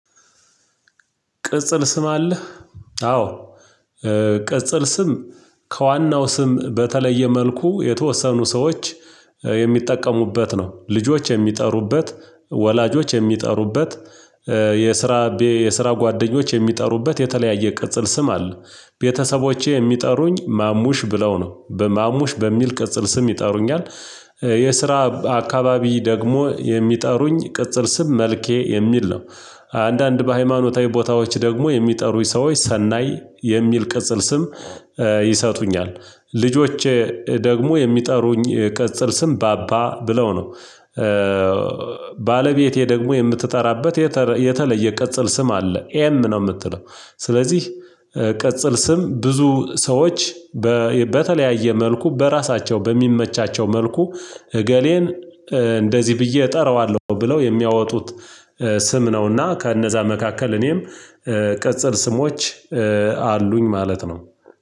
ቅጽል ስም አለህ? አዎ። ቅጽል ስም ከዋናው ስም በተለየ መልኩ የተወሰኑ ሰዎች የሚጠቀሙበት ነው። ልጆች የሚጠሩበት ወላጆች የሚጠሩበት የስራ የስራ ጓደኞች የሚጠሩበት የተለያየ ቅጽል ስም አለ። ቤተሰቦቼ የሚጠሩኝ ማሙሽ ብለው ነው በማሙሽ በሚል ቅጽል ስም ይጠሩኛል። የስራ አካባቢ ደግሞ የሚጠሩኝ ቅጽል ስም መልኬ የሚል ነው። አንዳንድ በሃይማኖታዊ ቦታዎች ደግሞ የሚጠሩኝ ሰዎች ሰናይ የሚል ቅጽል ስም ይሰጡኛል። ልጆቼ ደግሞ የሚጠሩኝ ቅጽል ስም ባባ ብለው ነው። ባለቤቴ ደግሞ የምትጠራበት የተለየ ቅጽል ስም አለ ኤም ነው የምትለው። ስለዚህ ቅጽል ስም ብዙ ሰዎች በተለያየ መልኩ በራሳቸው በሚመቻቸው መልኩ እገሌን እንደዚህ ብዬ እጠራዋለሁ ብለው የሚያወጡት ስም ነውና ከእነዛ መካከል እኔም ቅጽል ስሞች አሉኝ ማለት ነው።